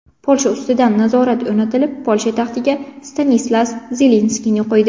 Polsha ustidan nazorat o‘rnatilib, Polsha taxtiga Stanislas Lezinskiyni qo‘ydi.